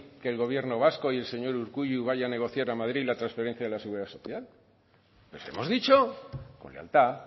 que el gobierno vasco y el señor urkullu vaya a negociar a madrid la transferencia de la seguridad social les hemos dicho con lealtad